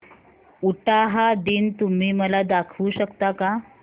उटाहा दिन तुम्ही मला दाखवू शकता का